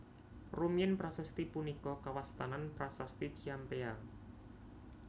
Rumiyin prasasti punika kawastanan Prasasti Ciampea